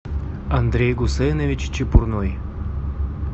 андрей гусейнович чепурной